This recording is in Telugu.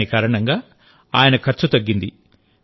దాని కారణంగా ఆయన ఖర్చు తగ్గింది